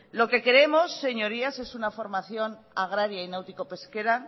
lo que queremos señorías es una formación agraria y náutico pesquera